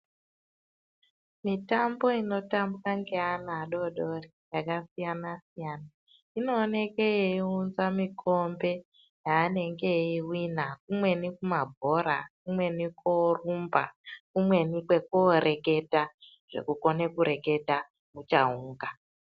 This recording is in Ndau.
Mitambo inotambwa nge ana adoodori yakasiyana siyana, inooneke yeiunza mikombe yaanenge eyi wina umweni kumabhora umweni koorumba umweni kooreketa zvekukone kureketa muchaunga.